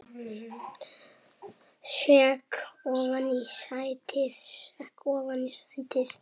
Sekk ofan í sætið.